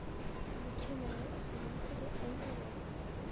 включи на телевизоре нтв